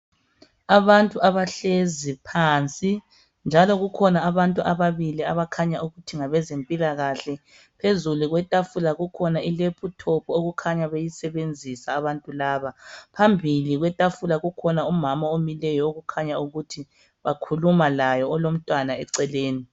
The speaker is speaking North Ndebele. Abantu ahlezi phansi njalo kukhona abantu ababili abakhanya ukuthi ngabe zempilakahle. Phezulu kwetafula kukhona ilephuthophu okukhanya beyisebebzisa abantu laba. Phambili kwetafula kukhona umama omileyo okukhanya ukuthi bakhuluma laye olomntwana eceleni.